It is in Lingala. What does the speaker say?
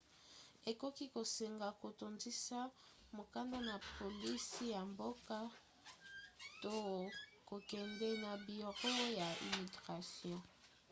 ekoki kosenga kotondisa mokanda na polisi ya mboka to kokende na biro ya immigration